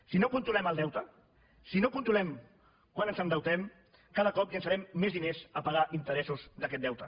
si no controlem el deute si no controlem quant ens endeutem cada cop llençarem més diners a pagar interessos d’aquest deute